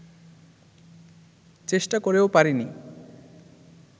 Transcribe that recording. চেষ্টা করেও পারিনি